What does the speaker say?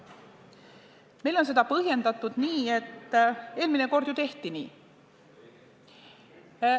Meile on seda põhjendatud nii, et eelmine kord ju tehti nii.